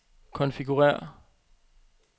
konfigurér